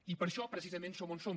i per això precisament som on som